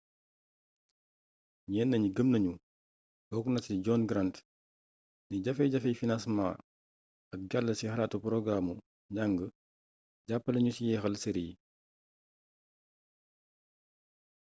ñenn ñi gëm nañu bokk na ci john grant ni jafe-jafey financement ak jàll ci xalaatu porogaraamu njàng jàppale nañu ci jeexal série yi